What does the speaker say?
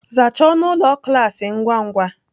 Zachaa ọnụ ụlọ klas ngwa ngwa!